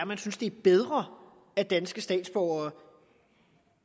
man synes det er bedre at danske statsborgere